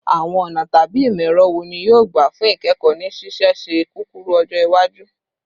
Awọn ọna tabi imọ-ẹrọ wo ni yoo gba fun ikẹkọ ni ṣiṣiṣẹ kukuru-ọjọ iwaju?